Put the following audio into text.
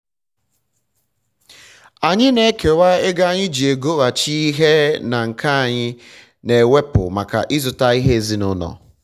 anyị na ekewa ego anyi ji egoghachi ihe na nke anyị na-ewepu maka ịzụta ihe ezinụlọ